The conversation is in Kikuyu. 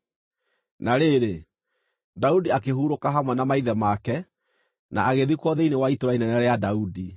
Na rĩrĩ, Daudi akĩhurũka hamwe na maithe make, na agĩthikwo thĩinĩ wa Itũũra inene rĩa Daudi.